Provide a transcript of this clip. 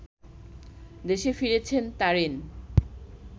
দেশে ফিরছেন তারিন